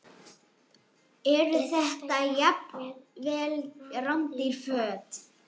Eru þetta jafnvel rándýr föt?